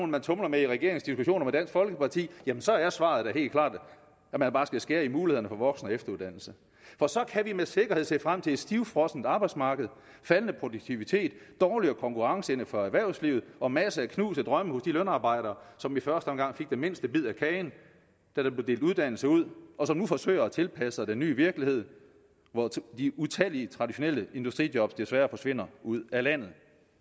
man tumler med i regeringens diskussioner med dansk folkeparti så er svaret da helt klart at man bare skal skære i mulighederne for voksen og efteruddannelse for så kan vi med sikkerhed se frem til et stivfrossent arbejdsmarked faldende produktivitet dårligere konkurrenceevne for erhvervslivet og masser af knuste drømme hos de lønarbejdere som i første omgang fik den mindste bid af kagen da der blev delt uddannelse ud og som nu forsøger at tilpasse sig den nye virkelighed hvor utallige traditionelle industrijob desværre forsvinder ud af landet